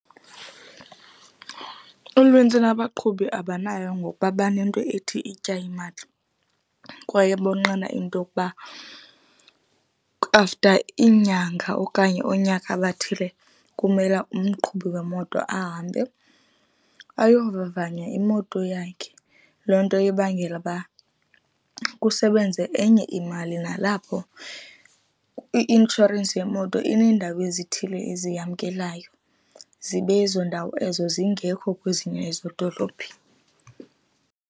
Unintsi lwabaqhubi abanayo ngokuba banento ethi itya imali kwaye bonqena into yokuba after iinyanga okanye oonyaka bathile, kumele umqhubi wemoto ahambe ayovavanya imoto yakhe. Loo nto ibangela uba kusebenze enye imali. Nalapho i-inshorensi yemoto ineendawo ezithile eziyamkelayo, zibe ezo ndawo ezo zingekho kwezinye ezo dolophi.